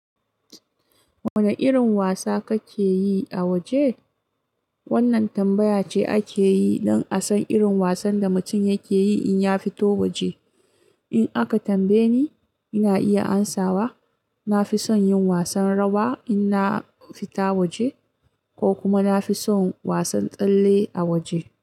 Wane irin wasa kake yi a waje? Wannan tambaya ce ake yi don a san irin wasan da mutum yake yi in ya fito waje. In aka tambaye ni, ina iya amsawa na fi son yin wasan rawa in na fita waje, ko kuma na fi son wasan tsalle a waje.